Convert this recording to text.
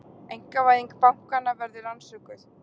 Einkavæðing bankanna verði rannsökuð